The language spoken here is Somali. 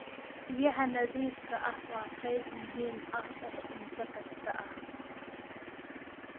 Biyaha nadiifka ah waa qayb muhiim ah oo cunto kasta ah.